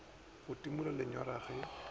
go timola lenyora ge e